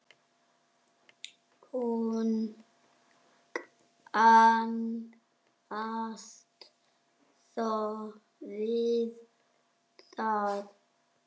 Hún kannast þó við það.